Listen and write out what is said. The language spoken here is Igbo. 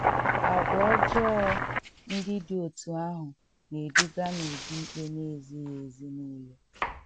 Àgwà ọjọọ ndị dị otú ahụ na - eduga n’ụdị ikpe na -- ezighị ezi nile.